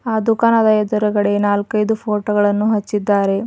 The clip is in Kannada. ಆ ದುಕಾನದ ಎದ್ರುಗಡೆ ನಾಲ್ಕೈದು ಫೋಟೋ ಗಳನ್ನು ಹಚ್ಚಿದ್ದಾರೆ.